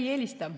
Me ei eelista.